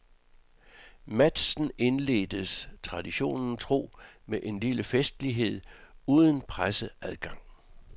Matchen indledtes, traditionen tro, med en lille festlighed uden presseadgang.